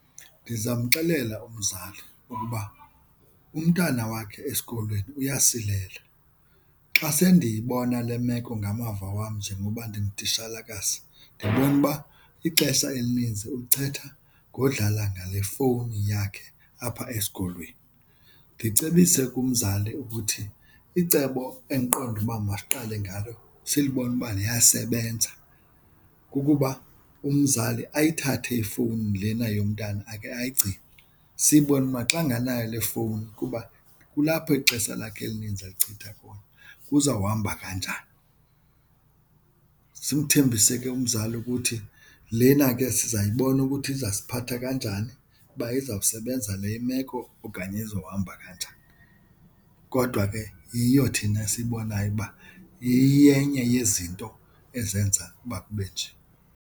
Ndizamxelela umzali ukuba umntana wakhe esikolweni uyasilela. Xa sendiyibona le meko ngamava wam njengoba ndingutitshalakazi ndibone uba ixesha elinintsi ulichitha ngodlala ngale fowuni yakhe apha esikolweni, ndicebise kumzali ukuthi icebo endiqonda uba masiqale ngalo silubona uba liyasebenza kukuba umzali ayithathe ifowuni lena yomntana akhe ayigcine sibone uba xa anganayo le fowuni kuba kulapho ixesha lakhe elininzi elichitha khona kuzawuhamba kanjani. Simthembise ke umzali ukuthi lena ke sizayibona ukuthi izawusiphatha kanjani uba uzawusebenza le imeko okanye izohamba kanjani. Kodwa ke yiyo thina esiyibonayo uba iyenye yezinto ezenza uba kube nje.